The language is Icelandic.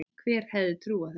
Hver hefði trúað þessu!